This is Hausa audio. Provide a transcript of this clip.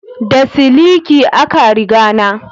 Da siliki a ka riga na